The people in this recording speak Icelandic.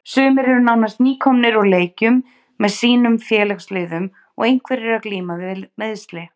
Sumir eru nánast nýkomnir úr leikjum með sínum félagsliðum og einhverjir að glíma við meiðsli.